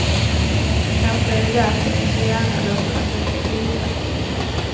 Kanske är det därför vi så gärna låter dem leka gudar.